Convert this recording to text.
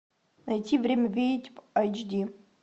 найти время ведьм айч ди